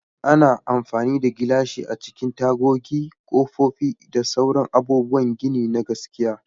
Ana amfani da gilashi a cikin tagogi, kofofi, da sauran abubuwan gini na gaskiya.